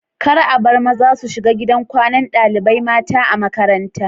Kar abar maza su shiga gidan kwanan ɗalibai mata a makaranta